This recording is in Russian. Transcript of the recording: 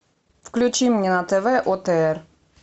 включи мне на тв отр